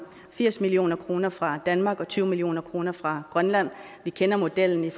firs million kroner fra danmark og tyve million kroner fra grønland vi kender modellen